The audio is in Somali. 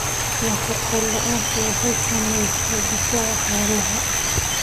Nafaqo la'aantu waxay saamaysaa difaaca xoolaha.